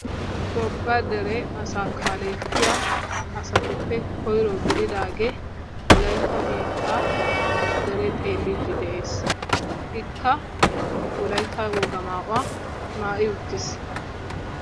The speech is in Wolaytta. Tophphiya dere asaa kaalettiyaasatuppe koyiro gididaagee wolayitta biittaa dere xeelliiddi de'es. Ikka wolayitta wogaa mayuwa maayi uttis.